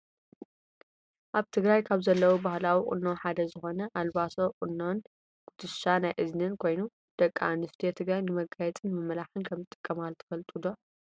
ኣብ ትግራይ ካብ ዘለው ባህላዊ ቁኖ ሓደ ዝኮነ ኣልባሶ ቁኖን ኩትሻ ናይ እዝንን ኮይኑ ደቂ ኣንስትዮ ትግራይ ንመጋየፂን ንመመላክዕን ከም ዝጥቀማሉ ትፈልጡ ዶ ?